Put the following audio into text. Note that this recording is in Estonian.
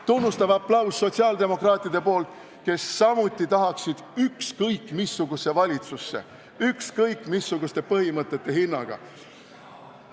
Tunnustav aplaus sotsiaaldemokraatidelt, kes samuti tahaksid ükskõik missugusesse valitsusse ja ükskõik missuguste põhimõtete hinnaga.